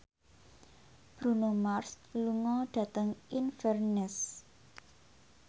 Bruno Mars lunga dhateng Inverness